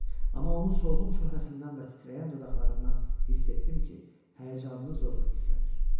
Amma onun solğun çöhrəsindən və titrəyən dodaqlarından hiss etdim ki, həyəcanını zorla gizlədir.